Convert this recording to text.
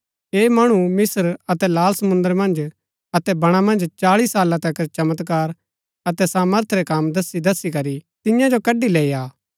ऐह मणु मिस्त्र अतै लाल समुंद्र मन्ज अतै बणा मन्ज चाळी साला तक चमत्कार अतै सामर्थ रै कम दस्सी दस्सी करी तियां जो कड़ी लैई आ